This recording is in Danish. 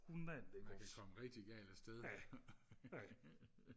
man kan komme rigtig galt afsted